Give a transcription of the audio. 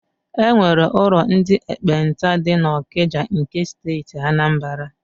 E nwere ụlọ ndị ekpenta dị n'Ọkịja nke Steeti Anambara.